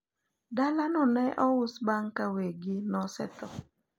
dala no ne ous bang ka weggi nosetho